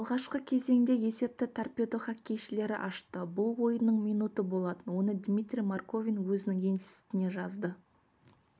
алғашқы кезеңде есепті торпедо хоккейшілері ашты бұл ойынның минуты болатын оны дмитрий марковин өзінің еншісіне жазды